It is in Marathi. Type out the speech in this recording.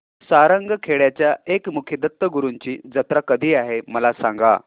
सारंगखेड्याच्या एकमुखी दत्तगुरूंची जत्रा कधी आहे मला सांगा